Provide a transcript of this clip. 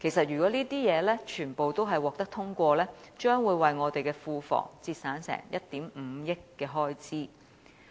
如果這些修正案全部獲得通過，將會為我們的庫房節省1億 5,000 萬元的開支。